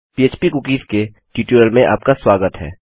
PHP cookies के tutorial में आपका स्वागत है